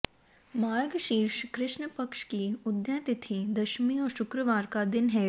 मार्गशीर्ष कृष्ण पक्ष की उदया तिथि दशमी और शुक्रवार का दिन है